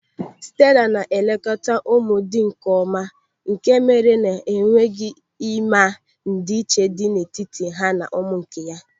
Stela na-elekọta ụmụ dị nkeọma nke mere na i nweghị ịma ndị iche dị n'etiti ha na ụmụ nke ya.